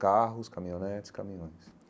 Carros, caminhonetes, caminhões.